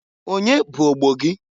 Onye bụ ogbo gị?